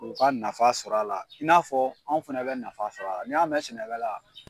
u ka nafa sɔr'a la i n'a fɔ anw fɛnɛ bɛ nafa sɔr'a la. N'i y'a mɛ sɛnɛkɛla